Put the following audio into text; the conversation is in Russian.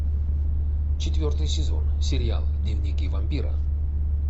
четвертый сезон сериал дневники вампира